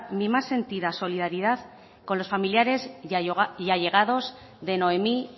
mi más sentido solidaridad con los familiares y allegados de noemí